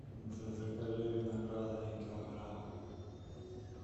закажи винограда один килограмм